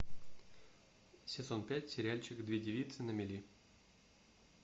сезон пять сериальчик две девицы на мели